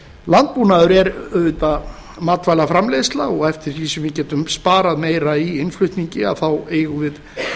landbúnaður er auðvitað matvælaframleiðsla og eftir því sem við getum sparað meira í innflutningi eigum við